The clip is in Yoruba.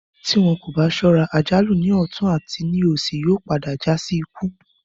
Tí wọn kò bá sọ́ra, àjálù ní ọ̀tún àti ní òsì yóò padà já sí ikú